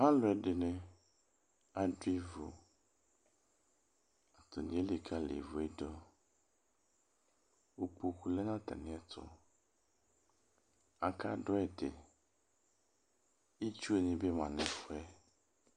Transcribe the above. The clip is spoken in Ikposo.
alʊɛdɩnɩ adʊ ivu atanɩ elikalɩ ivuedʊ ukpoku lɛ natamɩɛtʊ akadʊɛdɩ itsuenɩbɩ ma nʊ efʊe